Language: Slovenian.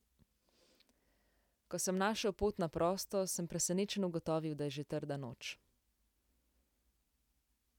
Ko sem našel pot na prosto, sem presenečen ugotovil, da je že trda noč.